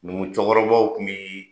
Numu cɛkɔrɔbabaw tun bɛ